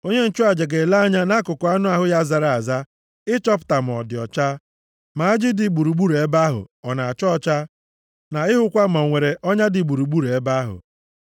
Onye nchụaja ga-ele anya nʼakụkụ anụ ahụ ya zara aza ịchọpụta ma ọ dị ọcha, ma ajị dị gburugburu ebe ahụ ọ na-acha ọcha, na ịhụkwa ma ọ nwere ọnya dị gburugburu ebe ahụ.